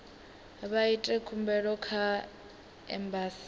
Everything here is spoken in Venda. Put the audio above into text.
vha ite khumbelo kha embasi